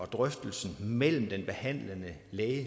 drøftelsen mellem den behandlende læge